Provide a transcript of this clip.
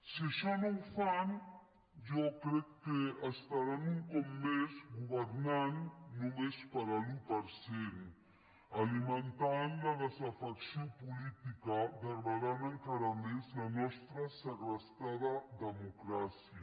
si això no ho fan jo crec que estaran un cop més governant només per a l’un per cent alimentant la desafecció política degradant encara més la nostra segrestada democràcia